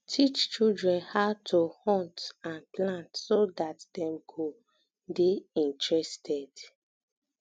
teach children how to um hunt and plant so that dem go um de interested